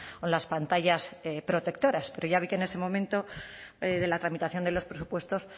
o las pantallas protectoras pero ya vi que en ese momento de la tramitación de los presupuestos